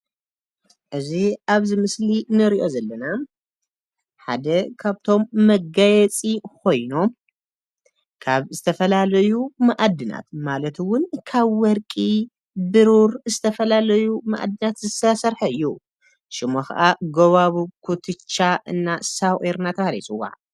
እዚ አብ ምስሊ እንሪኦ ዘለና ሓደ ካብቶም መጋየፂ ኮይኑ፤ ካብ ዝተፈላለዩ ማዕድናት ማለት እውን ካብ ወርቂ፣ ብሩር ዝተፈላለዩ ማዕድና ዝተሰርሐ እዩ፡፡ ሹሙ ከአ ጎባጉብ፣ ኩትቻ እና ሳቍር እናተብሃለ ይፅዋዕ፡፡